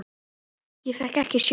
Ég fékk ekki sjokk.